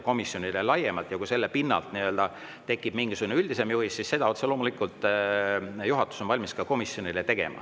Kui praegu selle pinnalt tekib mingisugune üldisem juhis, siis seda otse loomulikult juhatus on valmis komisjonile andma.